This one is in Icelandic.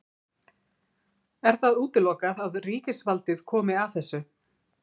Er það útilokað að ríkisvaldið komi að þessu?